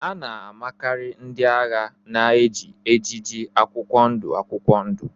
A na-amakarị ndị agha na-eji ejiji akwụkwọ ndụ akwụkwọ ndụ